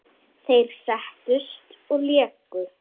Þeir settust og léku.